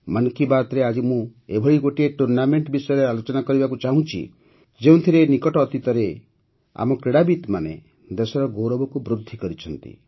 ମନ୍ କି ବାତ୍ରେ ଆଜି ମୁଁ ଏଭଳି ଗୋଟିଏ ଟୁର୍ଣ୍ଣାମେଂଟ୍ ବିଷୟରେ ଆଲୋଚନା କରିବାକୁ ଚାହୁଁଛି ଯେଉଁଥିରେ ନିକଟ ଅତୀତରେ ଆମ କ୍ରୀଡ଼ାବିତ୍ମାନେ ଦେଶର ଗୌରବକୁ ବୃଦ୍ଧି କରିଛନ୍ତି